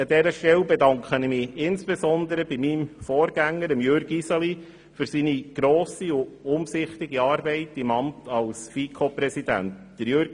An dieser Stelle bedanke ich mich insbesondere bei meinem Vorgänger Jürg Iseli für seine grosse und umsichtige Arbeit im Amt als FiKo-Präsident. Jürg